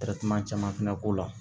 caman fana k'o la